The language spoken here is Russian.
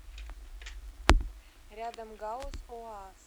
рядом гауз оас